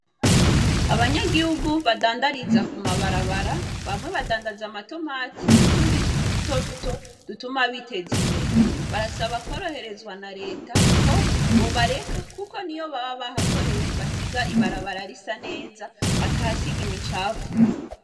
Abanyagihugu badandariza ku mabarabara bamwe badandaza amatomati nutundi tuntu duto duto dutuma biteza imbere barasaba kworoherezwa na reta ko bobareka kuko nubwo baba bahakoreye basiga ibarabara risa neza batahasiga imicafu .